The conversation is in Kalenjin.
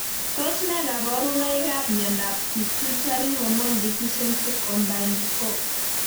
Tos ne kaborunoikab miondop pituitary hormone deficiency, combined 4?